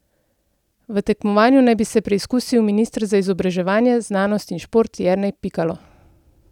V tekmovanju naj bi se preizkusil minister za izobraževanje, znanost in šport Jernej Pikalo.